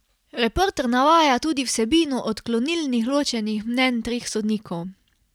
Reporter navaja tudi vsebino odklonilnih ločenih mnenj treh sodnikov.